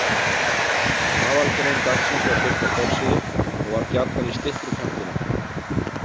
Aðalgrein dagsins var birt á forsíðu og var gjarnan í styttri kantinum.